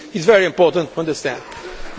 It is very important to understand